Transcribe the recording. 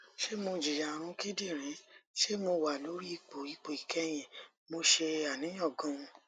se mo jiya arun kidirin se mo wa lori ipo ipo ikehin mo se aniyan gan